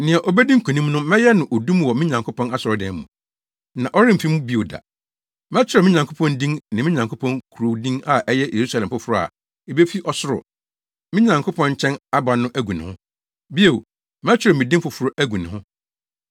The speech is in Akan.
Nea obedi nkonim no, mɛyɛ no odum wɔ me Nyankopɔn asɔredan mu, na ɔremfi mu bio da. Mɛkyerɛw me Nyankopɔn din ne me Nyankopɔn kurow din a ɛyɛ Yerusalem foforo a ebefi ɔsoro, me Nyankopɔn nkyɛn aba no agu ne ho. Bio, mɛkyerɛw me din foforo agu ne ho.